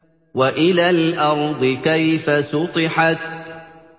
وَإِلَى الْأَرْضِ كَيْفَ سُطِحَتْ